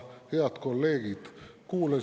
Head kolleegid!